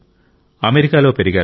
అమెరికాలో పెరిగారు